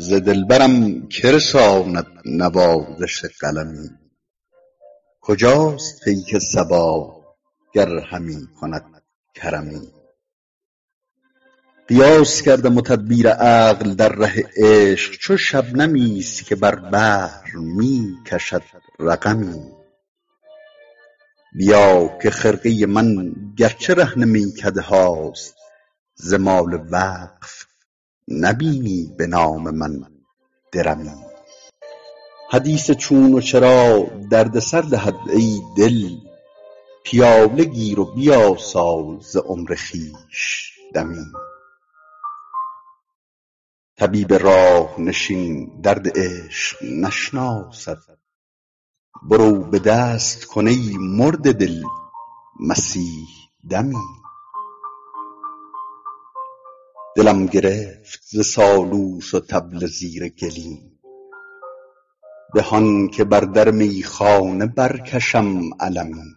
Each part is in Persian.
ز دلبرم که رساند نوازش قلمی کجاست پیک صبا گر همی کند کرمی قیاس کردم و تدبیر عقل در ره عشق چو شبنمی است که بر بحر می کشد رقمی بیا که خرقه من گر چه رهن میکده هاست ز مال وقف نبینی به نام من درمی حدیث چون و چرا درد سر دهد ای دل پیاله گیر و بیاسا ز عمر خویش دمی طبیب راه نشین درد عشق نشناسد برو به دست کن ای مرده دل مسیح دمی دلم گرفت ز سالوس و طبل زیر گلیم به آن که بر در میخانه برکشم علمی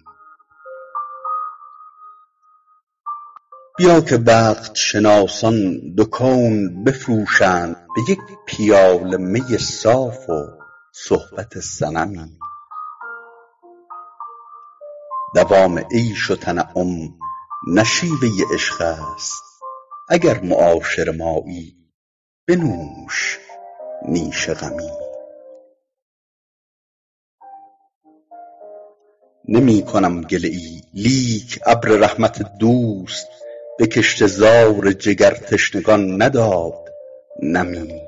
بیا که وقت شناسان دو کون بفروشند به یک پیاله می صاف و صحبت صنمی دوام عیش و تنعم نه شیوه عشق است اگر معاشر مایی بنوش نیش غمی نمی کنم گله ای لیک ابر رحمت دوست به کشته زار جگرتشنگان نداد نمی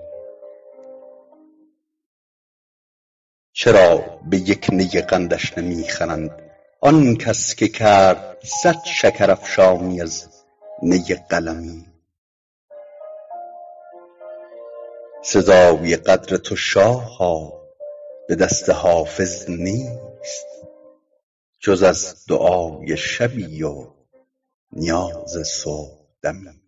چرا به یک نی قندش نمی خرند آن کس که کرد صد شکرافشانی از نی قلمی سزای قدر تو شاها به دست حافظ نیست جز از دعای شبی و نیاز صبحدمی